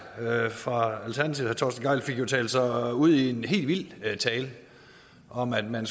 fra alternativet fik jo talt sig ud i en helt vild tale om at man